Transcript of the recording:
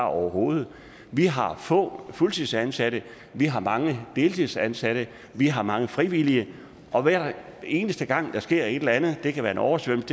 overhovedet vi har få fuldtidsansatte vi har mange deltidsansatte vi har mange frivillige og hver eneste gang der sker et eller andet det kan være en oversvømmelse